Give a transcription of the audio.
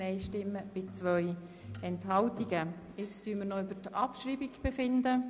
Jetzt werden wir noch über die Abschreibung befinden.